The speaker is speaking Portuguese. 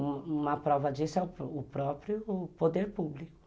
Uma prova disso é o próprio poder público.